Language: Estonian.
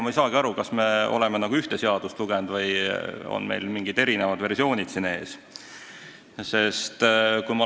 Ma ei saa tegelikult aru, kas me oleme ühte seaduseelnõu lugenud või on meil ees mingid erinevad versioonid.